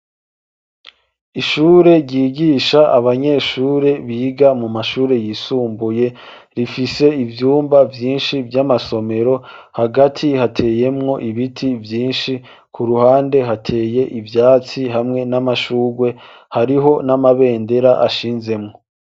Ishure ryigisha abanyeshure biga mu mashure yisumbuye, rifise ivyumba vyinshi vy'amasomero hagati heteyemwo ibiti vyinshi ku ruhande hateye ivyatsi hamwe n'amashurwe hariho n'amabendera ashinzemwo.